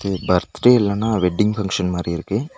Birthday இல்லனா wedding function மாரி இருக்கு.